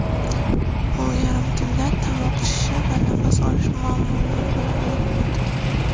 U yarim tunda tomoq shishi va nafas olish muammolari bilan uyg‘onadi.